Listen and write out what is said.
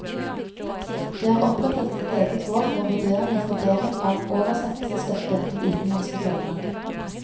Det er opprettet et eget råd for vurdering og fordeling av oversettelsesstøtte til utenlandske forlag.